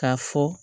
K'a fɔ